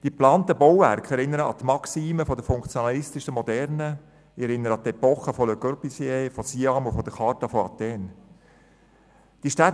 Die geplanten Bauwerke erinnern an die Maxime der funktionalistischen Moderne, an die Epochen von Le Corbusier, an die internationalen Kongresse Moderner Architektur (CIAM) und an die Charta von Athen.